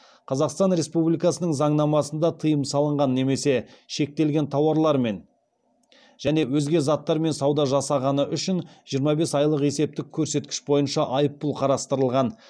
қазақстан республикасының заңнамасында тыйым салынған немесе шектелген тауарлармен және өзге заттармен сауда жасағаны үшін жиырма бес айлық есептік көрсеткіш бойынша айыппұл қарастырылған